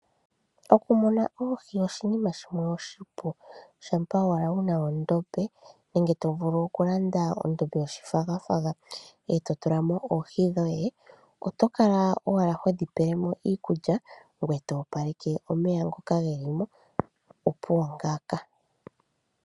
Oku muna oohi oshinima shimwe oshipu noonkondo, shaa owala wu na ondombe nenge wu lande ondombe yoshifagafaga ete tulamo omeya noohi dhoye. Oto kala owala hodhi pe iikulya ngoye to opaleke omeya opo dhaa hakwatwe komikithi dho tadhi indjipala nawa nduno.